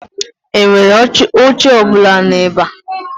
Enwere oche ọ bụla nu ebe?